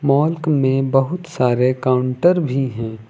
Mall क में बहुत सारे काउंटर भी हैं।